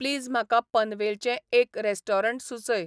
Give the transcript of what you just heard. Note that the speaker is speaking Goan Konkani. प्लीज म्हाका पनवेलचें एक रॅस्टोरंट सुचय